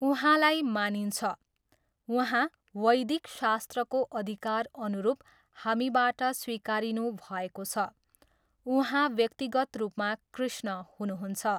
उहाँलाई मानिन्छ, उहाँ वैदिक शास्त्रको अधिकार अनुरुप हामीबाट स्वीकारिनुभएको छ, उहाँ व्यक्तिगत रुपमा कृष्ण हुनुहुन्छ।